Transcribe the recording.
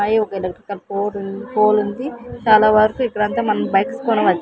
పై ఒక electrical pole pole ఉంది చాలావరకు ఇక్కడ అంతా మనం బైక్స్ కొనవచ్చు.